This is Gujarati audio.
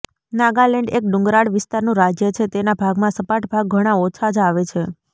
નાગાલેંડ એક ડુંગરાળ વિસ્તારનું રાજ્ય છે તેના ભાગમાં સપાટ ભાગ ઘણા ઓછા જ આવે છે